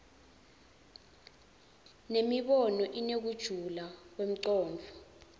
nemibono inekujula kwemcondvo